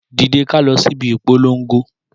Dìde ká lọ síbi ìpolongo